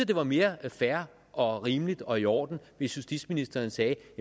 det var mere fair og rimeligt og i orden hvis justitsministeren sagde